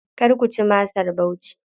Kar ku ci masar Bauchi.